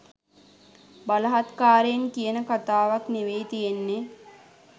බලහත්කාරයෙන් කියන කතාවක් නෙවෙයි තියෙන්නේ.